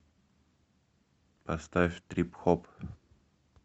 поставь трип хоп